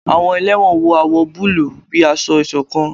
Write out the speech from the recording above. Àwọn ẹlẹwọn wọ awọ bulu bíi ásọ̀-ìsokán